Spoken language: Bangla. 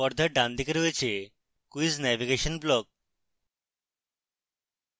পর্দার ডানদিকে রয়েছে quiz navigation block